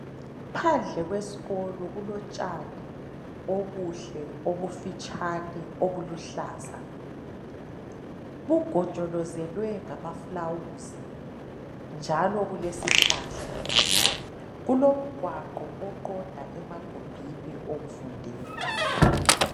Phandle kwesikolo kulotshani obuhle, obufitshane, obuluhlaza bugojolozwele ngamaflawuzi njalo kulesihlahla. Kulomgwaqo oqonda emagumbini okufundela.